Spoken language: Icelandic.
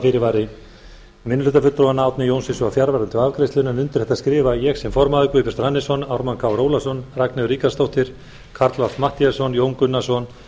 fyrirvari minnihlutafulltrúanna árni johnsen var fjarverandi við afgreiðslu málsins undir þetta skrifa ég sem formaður guðbjartur hannesson ármann krónu ólafsson ragnheiður ríkharðsdóttir karl fimmti matthíasson jón gunnarsson